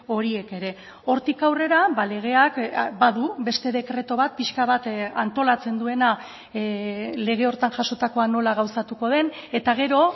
horiek ere hortik aurrera legeak badu beste dekretu bat pixka bat antolatzen duena lege horretan jasotakoa nola gauzatuko den eta gero